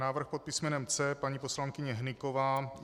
Návrh pod písmenem C, paní poslankyně Hnyková.